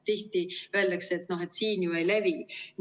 Tihti öeldakse, et noh, siin ju ei levi.